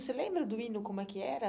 Você lembra do hino como é que era?